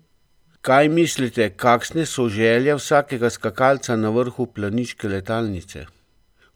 Kaj mislite, kakšne so želje vsakega skakalca na vrhu planiške letalnice?